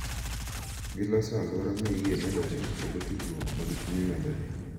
Giloso alwora ma yie medore kendo tudruok mag chuny medore.